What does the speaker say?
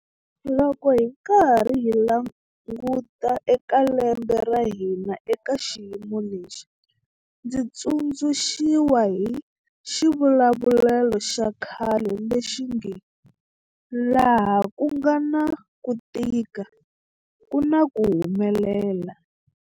Loko hi karhi hi languta eka lembe ra hina eka xiyimo lexi, ndzi tsundzuxiwa hi xivulavulelo xa khale lexi nge 'laha ku nga na ku tika ku na ku humelela'.